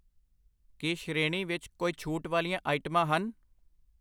ਕੀ ਸ਼੍ਰੇਣੀ ਵਿੱਚ ਕੋਈ ਛੂਟ ਵਾਲੀਆਂ ਆਈਟਮਾਂ ਹਨ?